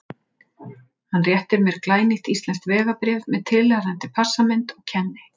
Hann réttir mér glænýtt íslenskt vegabréf með tilheyrandi passamynd og kenni